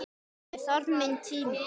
Ég þarf minn tíma.